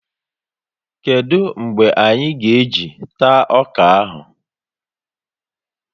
Kedụ mgbe anyị ga e jị taa ọkà áhù?